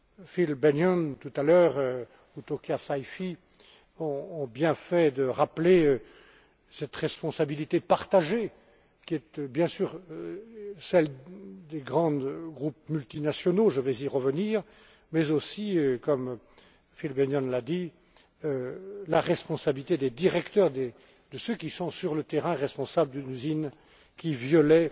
Phil Bennion, tout à l'heure, et Tokia Saïfi, ont bien fait de rappeler cette responsabilité partagée, qui est bien sûr celle des grands groupes multinationaux je vais y revenir mais aussi, comme Phil Bennion l'a dit, la responsabilité des directeurs, de ceux qui sont, sur le terrain, responsables d'une usine qui violait